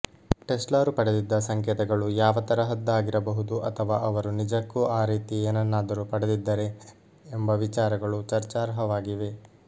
ಟೆಸ್ಲಾರು ಪಡೆದಿದ್ದ ಸಂಕೇತಗಳು ಯಾವ ತರಹದ್ದಾಗಿರಬಹುದು ಅಥವಾ ಅವರು ನಿಜಕ್ಕೂ ಆ ರೀತಿ ಏನನ್ನಾದರೂ ಪಡೆದಿದ್ದರೆ ಎಂಬ ವಿಚಾರಗಳು ಚರ್ಚಾರ್ಹವಾಗಿವೆ